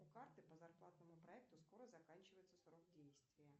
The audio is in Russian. у карты по зарплатному проекту скоро заканчивается срок действия